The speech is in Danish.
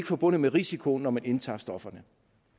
forbundet med risiko når man indtager stofferne